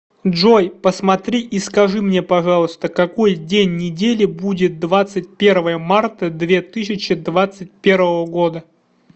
джой посмотри и скажи мне пожалуйста какой день недели будет двадцать первое марта две тысячи двадцать первого года